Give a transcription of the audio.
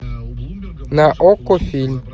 на окко фильм